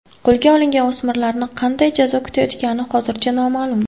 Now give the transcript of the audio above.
Qo‘lga olingan o‘smirlarni qanday jazo kutayotgani hozircha noma’lum.